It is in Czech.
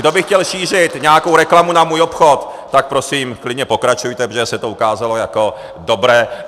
Kdo by chtěl šířit nějakou reklamu na můj obchod, tak prosím, klidně pokračujte, protože se to ukázalo jako dobré.